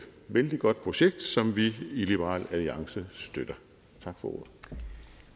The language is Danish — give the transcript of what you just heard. vældig godt projekt som vi i liberal alliance støtter